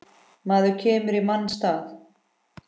Maður kemur í manns stað.